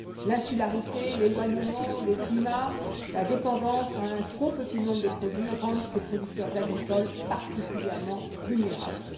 L'insularité, l'éloignement, le climat, la dépendance envers un trop petit nombre de produits rendent leurs producteurs agricoles particulièrement vulnérables.